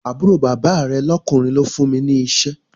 Àbúrò bàbá rẹ̀ lọ́kùnrin ló fún mi ní iṣẹ́